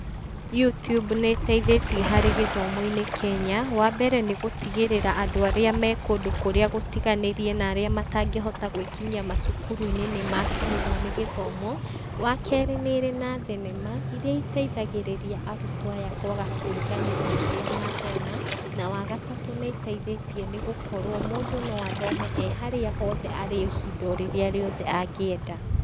Youtube nĩ ĩteithĩtie harĩ gĩthomo-inĩ Kenya, wa mbere nĩ gũtigĩrĩra andũ arĩa me kũndũ kũrĩa gũtiganĩrie, na arĩa matangĩhota gwĩkinyia macukuru-inĩ nĩ makinyĩrwo nĩ gĩthomo, wa kerĩ nĩrĩ na thenema, iria iteithagĩrĩria arutwo aya kwaga kũriganĩrwo kĩrĩa mathoma, na wa gatatũ nĩ ĩteithĩtie nĩ gũkorwo mũndũ no athome e harĩa hothe arĩ, ihinda orĩrĩa riothe angĩenda.